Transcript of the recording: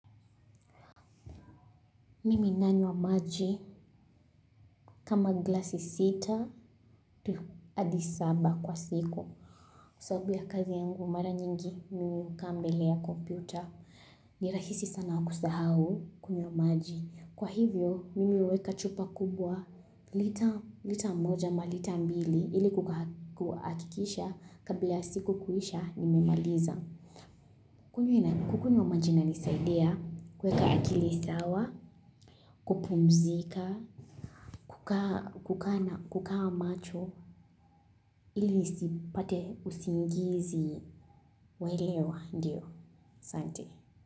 Mimi nanywa maji kama glasi sita adi saba kwa siku. Kwa sababu ya kazi yangu, mara nyingi, mimi hukaa mbele ya kompyuta. Nirahisi sana kusahau, kunywa maji. Kwa hivyo, mimi huweka chupa kubwa, lita mmoja ama lita mbili, ili kukakikisha kabla ya siku kuisha, nimemaliza. Kukunywa maji inanisadiai, kuweka akili sawa, kupumzika, kukaa, kukaa macho, ili nisipate usingizi wailewa, ndio, santi.